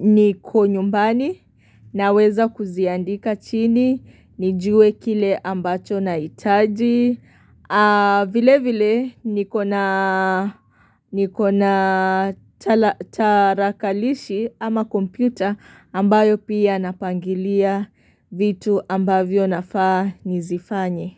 niko nyumbani naweza kuziandika chini, nijue kile ambacho nahitaji, vile vile nikona tarakilishi ama kompyuta ambayo pia napangilia vitu ambavyo nafaa nizifanye.